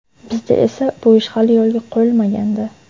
Bizda esa bu ish hali yo‘lga qo‘yilmagandi.